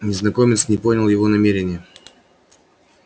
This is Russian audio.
незнакомец не понял его намерения